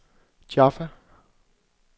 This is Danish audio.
Jaffa